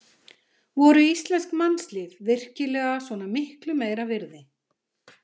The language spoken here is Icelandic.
Voru íslensk mannslíf virkilega svona miklu meira virði?